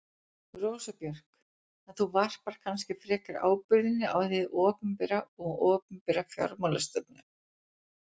Rósa Björk: En þú varpar kannski frekar ábyrgðinni á hið opinbera og opinbera fjármálastefnu?